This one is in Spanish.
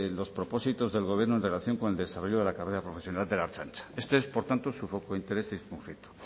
los propósitos del gobierno en relación con el desarrollo de la carrera profesional de la ertzaintza este es por tanto su foco de interés de este conflicto